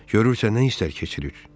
Görürsə nə istər keçirir?